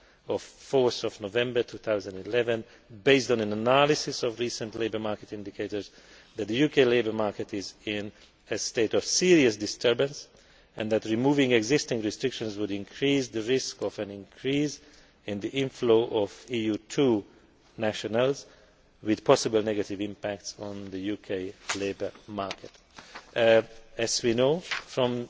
of 4 November 2011 that, based on an analysis of recent labour market indicators, the UK labour market is in a state of serious disturbance and that removing existing restrictions would increase the risk of an increased inflow of EU2 nationals, with a potential negative impact on the UK labour market. As we know